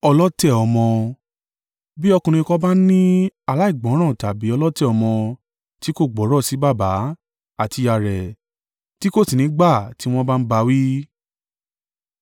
Bí ọkùnrin kan bá ní aláìgbọ́ràn tàbí ọlọ̀tẹ̀ ọmọ tí kò gbọ́rọ̀ sí baba àti ìyá rẹ̀ tí kò sì ní í gbà tí wọ́n bá ń bá a wí,